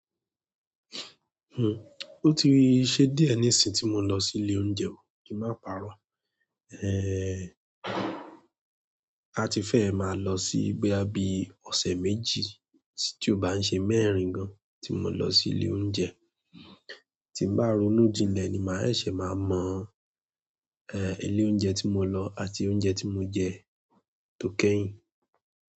Hm, o ti ṣe diẹ nísin tí mo lọ sí ilé oúnjẹ kí n máa pàrọ́. Ehn, a ti fẹ́ máa lọ sí bóyá bíi ọ̀sẹ̀ méjì tí ó bá ń ṣe mẹ́rin gan tí mo lọ sí ilé oúnjẹ. Tí bá ronú jilẹ̀ ni màá ṣẹ̀ṣẹ̀ máa mọ eh ilé oúnjẹ tí mo lọ àti oúnjẹ tí mo jẹ tó kẹ́yìn.